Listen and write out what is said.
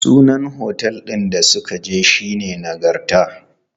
Sunan otel ɗin da muka je shine Nagarta.